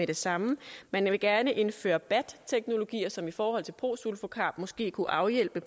det samme man vil gerne indføre bat teknologier som i forhold til prosulfocarb måske kunne afhjælpe